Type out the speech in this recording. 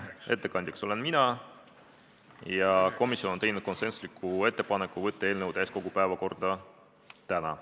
Ettekandja olen mina ja komisjon on teinud konsensusliku ettepaneku võtta eelnõu täiskogu päevakorda täna.